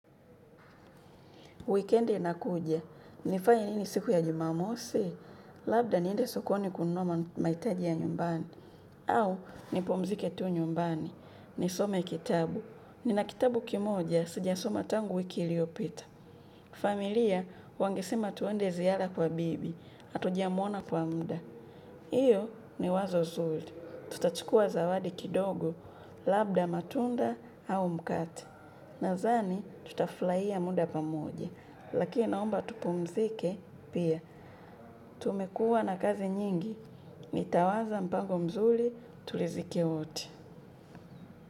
Wikiendi inakuja, nifanye nini siku ya jumamosi, labda niende sokoni kununua mahitaji ya nyumbani, au nipumzike tu nyumbani, nisome kitabu. Nina kitabu kimoja, sija soma tangu wiki iliopita. Familia, wange sema tuende ziara kwa bibi, hatuja muona kwa muda. Hiyo ni wazo zuri, tutachukua zawadi kidogo, labda matunda au mkate. Nadhani tuta furahia muda pamoja, laki naomba tupumzike pia. Tumekua na kazi nyingi, nitawaza mpango mzuri turidhike wote.